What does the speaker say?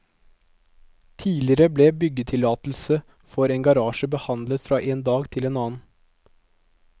Tidligere ble en byggetillatelse for en garasje behandlet fra en dag til en annen.